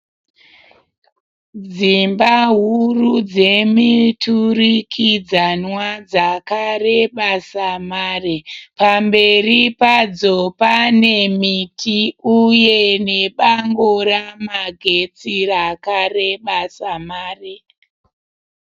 Dzimba huru dzemiturikidzanwa dzakareba samare. Pamberi padzo pane miti uye nebango ramagetsi rakareba samare.